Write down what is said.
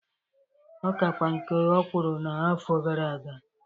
Ọ kakwa nke ọ kwụrụ na afọ gara aga.